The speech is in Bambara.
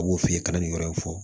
A b'o f'i ye i ka nin yɔrɔ in fɔ